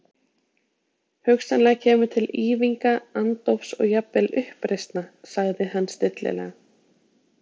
Hugsanlega kemur til ýfinga, andófs og jafnvel uppreisna, sagði hann stillilega.